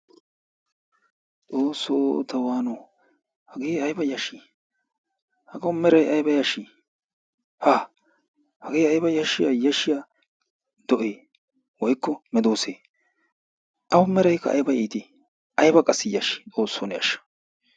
Xoosso ta wano! Hagee aybba yashi! Hagaawu meeray ayba yashi! Ha hagee ayba yashiya yashiya doe woykko medose? Awu meeraykka ayba itti! ayiba qassi yashshii! xoossoo ne ashsha!